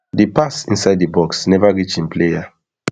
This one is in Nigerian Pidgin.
di pass inside di box neva reach im player